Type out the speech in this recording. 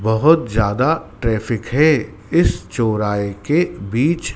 बहोत ज्यादा ट्रैफिक है इस चौराहे के बीच--